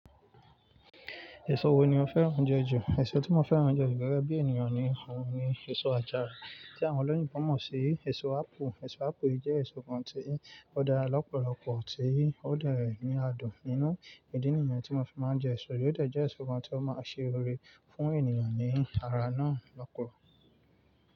Èso wo ni o fẹ́ràn je ju? Èso tí mo fẹ́ràn je ju gẹ́gẹ́ bí ènìyàn ni òun ni èso àjàrà tí àwọn olóyinbo mọ̀ sí. Èso ápù, èso ápù yìí jẹ́ èso kan tí ó dára lọ́pọ̀lọpọ̀, tí ó de ní adùn nínú ìdí nìyẹn tí mo fi máa ń jẹ èso yìí. Ó de jẹ́ èso kan tí ó máa ń ṣe ore fún ènìyàn ní ara náà lọ́pọ̀.